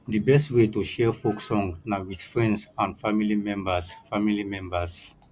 di best way to share folk song na with friends and family members family members